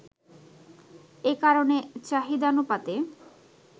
এ কারণে চাহিদানুপাতে